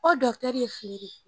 O ye